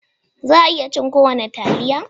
Za a iya cin kowane taliya?